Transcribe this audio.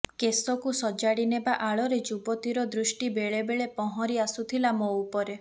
କେଶକୁ ସଜାଡ଼ିନେବା ଆଳରେ ଯୁବତୀର ଦୃଷ୍ଟି ବେଳେ ବେଳେ ପହଁରି ଆସୁଥିଲା ମୋ ଉପରେ